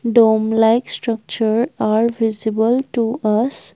dome like structure are visible to us.